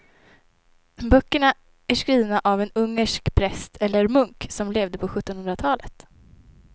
Böckerna är skrivna av en ungersk präst eller munk som levde på sjuttonhundratalet.